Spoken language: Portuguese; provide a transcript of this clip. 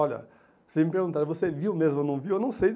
Olha, vocês me perguntaram, você viu mesmo ou não viu? Eu não sei